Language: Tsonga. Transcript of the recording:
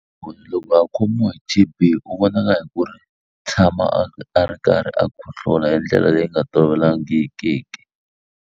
loko a khomiwa hi T_B u vonaka hi ku ri tshama a ri karhi a khohlola hi ndlela leyi nga tolovelangikiki.